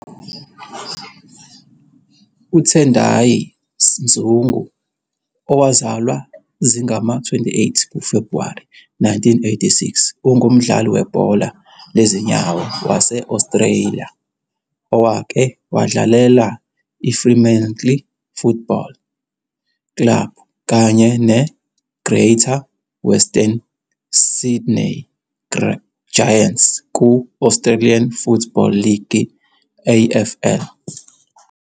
UTendai Mzungu, owazalwa zingama-28 kuFebhuwari 1986, ungumdlali webhola lezinyawo wase-Australia owake wadlalela iFremantle Football Club kanye neGreater Western Sydney Giants ku- Australian Football League, AFL.